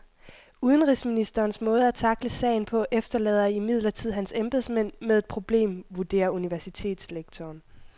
Udenrigsministerens måde at tackle sagen på efterlader imidlertid hans embedsmænd med et problem, vurderer universitetslektoren.